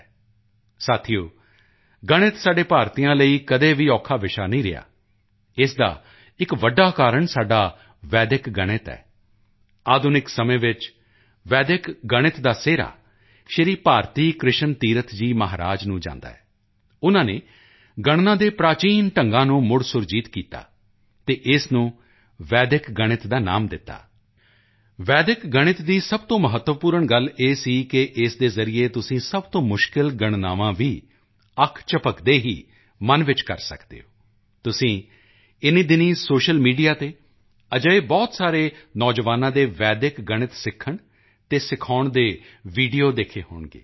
ਦੋਸਤੋ ਗਣਿਤ ਸਾਡੇ ਭਾਰਤੀਆਂ ਲਈ ਕਦੇ ਵੀ ਔਖਾ ਵਿਸ਼ਾ ਨਹੀਂ ਰਿਹਾ ਇਸ ਦਾ ਇੱਕ ਵੱਡਾ ਕਾਰਨ ਸਾਡਾ ਵੈਦਿਕ ਗਣਿਤ ਹੈ ਆਧੁਨਿਕ ਸਮੇਂ ਵਿੱਚ ਵੈਦਿਕ ਗਣਿਤ ਦਾ ਸਿਹਰਾ ਸ਼੍ਰੀ ਭਾਰਤੀ ਕ੍ਰਿਸ਼ਨ ਤੀਰਥ ਜੀ ਮਹਾਰਾਜ ਨੂੰ ਜਾਂਦਾ ਹੈ ਉਨ੍ਹਾਂ ਨੇ ਕੈਲਕੂਲੇਸ਼ਨ ਦੇ ਪ੍ਰਾਚੀਨ ਤਰੀਕਿਆਂ ਨੂੰ ਰਿਵਾਈਵ ਕੀਤਾ ਅਤੇ ਇਸ ਨੂੰ ਵੈਦਿਕ ਗਣਿਤ ਦਾ ਨਾਮ ਦਿੱਤਾ ਵੈਦਿਕ ਗਣਿਤ ਦੀ ਸਭ ਤੋਂ ਮਹੱਤਵਪੂਰਨ ਗੱਲ ਇਹ ਸੀ ਕਿ ਇਸ ਦੇ ਜ਼ਰੀਏ ਤੁਸੀਂ ਸਭ ਤੋਂ ਮੁਸ਼ਕਿਲ ਗਣਨਾਵਾਂ ਵੀ ਅੱਖ ਝਪਕਦੇ ਹੀ ਮਨ ਵਿੱਚ ਕਰ ਸਕਦੇ ਹੋ ਤੁਸੀਂ ਇਨ੍ਹੀਂ ਦਿਨੀਂ ਸੋਸ਼ਲ ਮੀਡੀਆ ਤੇ ਅਜਿਹੇ ਬਹੁਤ ਸਾਰੇ ਨੌਜਵਾਨਾਂ ਦੇ ਵੈਦਿਕ ਗਣਿਤ ਸਿੱਖਣ ਅਤੇ ਸਿਖਾਉਣ ਦੇ ਵੀਡੀਓ ਦੇਖੇ ਹੋਣਗੇ